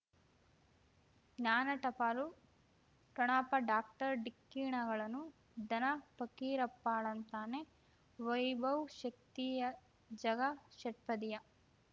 ಜ್ಞಾನ ಟಪಾಲು ಠೊಣಪ ಡಾಕ್ಟರ್ ಢಿಕ್ಕಿ ಣಗಳನು ಧನ ಫಕೀರಪ್ಪ ಳಂತಾನೆ ವೈಭವ್ ಶಕ್ತಿಯ ಝಗಾ ಷಟ್ಪದಿಯ